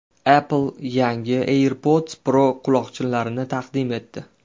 Apple yangi AirPods Pro quloqchinlarini taqdim etdi.